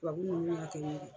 Tubabu ninnu y'a kɛ n ye.